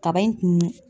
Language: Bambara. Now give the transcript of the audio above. Kaba in kun